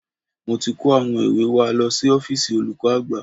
Mo ti kó àwọn ìwé wa lọ sí ọ́fíìsì olùkọ́ àgbà